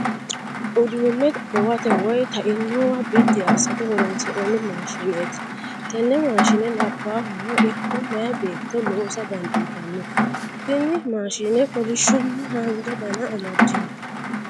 Uduunne gowate woy ta'inowa biddi assate horoonsi'nanni maashineeti. Tenne maashine labbahano ikko meeya beetto loosa dandiitanno. Tini maashine kolishshonna haanja dana amaddino.